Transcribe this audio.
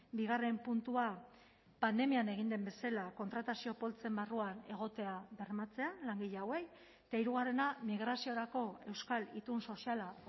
bigarren puntua pandemian egin den bezala kontratazio poltsen barruan egotea bermatzea langile hauei eta hirugarrena migraziorako euskal itun soziala